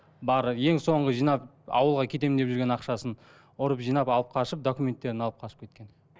бары ең соңғы жинап ауылға кетемін деп жүрген ақшасын ұрып жинап алып қашып документтерін алып қашып кеткен